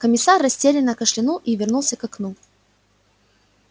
комиссар растерянно кашлянул и вернулся к окну